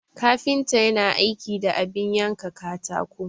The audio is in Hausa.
Kafinta yana aiki da abin yanka katako.